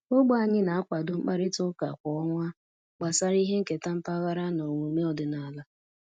Ogbe anyị na-akwado mkparịta ụka kwa ọnwa gbasara ihe nketa mpaghara na omume ọdịnala